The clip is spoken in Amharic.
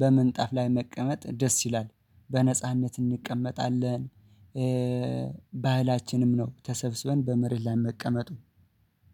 በምንጣፍ ላይ መቀመጥ ደስ ይላል። በነጻነት እንቀመጣለን። ባህላችንም ነው ተሰብስበን በመሬት ላይ መቀመጡ